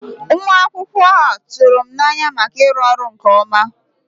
Nwa akwụkwọ a tụrụ m n'anya maka ịrụ ọrụ nke ọma.